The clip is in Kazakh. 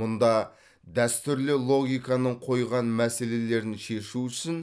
мұнда дәстүрлі логиканың қойған мәселелерін шешу үшін